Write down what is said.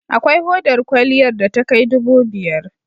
Akwai hodar kwaliyar da takai dubu biyar.